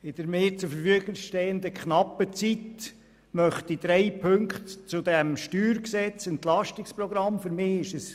In der zur Verfügung stehenden knappen Zeit, möchte ich auf drei Punkte zum StG und zum EP eingehen.